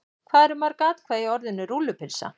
Hvað eru mörg atkvæði í orðinu rúllupylsa?